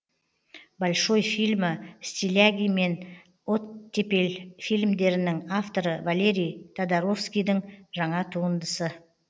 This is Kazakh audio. большой фильмі стиляги мен оттепель фильмдерінің авторы валерий тодоровскийдің жаңа туындысы